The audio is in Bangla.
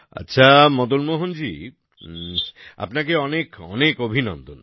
আচ্ছা মদন মোহন জি আপনাকে অনেক অনেক অভিনন্দন